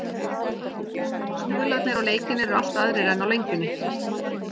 Stuðlarnir á leikinn eru allt aðrir en á Lengjunni.